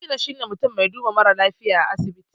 Likita shine mutun mai duba marasa lafiya a asibiti